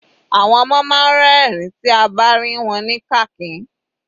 Àwọn ọmọ máa ń rin ẹ̀rín tí a bá rìn wọ́n ní kàkín.